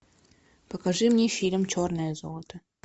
покажи мне фильм черное золото